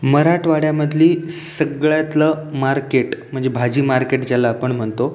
मराठवाड्यामधली सगळ्यातलं मार्केट म्हणजे भाजी मार्केट ज्याला आपण म्हणतो.